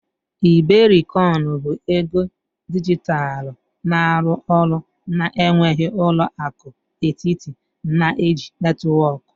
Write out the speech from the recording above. iberikoin bụ ego dijitalụ na-arụ ọrụ na-enweghị ụlọ akụ etiti, na-eji netwọk.